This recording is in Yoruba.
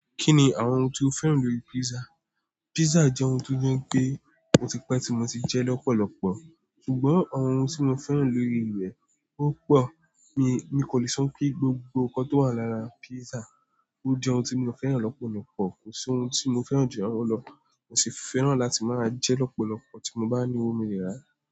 Kí ni àwọn ohun tí o féràn lórí pizza? Pizza jẹ́ ohun ti o jẹ́ pe o ti pẹ́ ti mo ti jẹ́ lọ́pọ̀lọpọ̀, ṣùgbọ́n àwọn ohun tí mo fẹ́ràn lórí rẹ o pọ̀, mí kò le so pé gbogbo nkan tó wà lára pizza ó jẹ ohun tí mo féràn lọ́pọ̀lọ́pọ̀. Kò sí ohun tí mo féràn jù ọ̀wọ̀ lọ, mo sì féràn láti máa jẹ́ lọ́pọ̀lọpọ̀ tí mo bá ní owó mo lẹ rà.